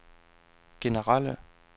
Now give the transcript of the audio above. generelle